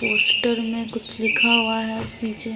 Poster में कुछ लिखा हुआ है नीचे।